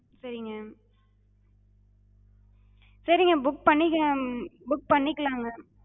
சரிங்க. சரிங்க book பண்ணிக்கலாம் book பண்ணிக்கலாங்க.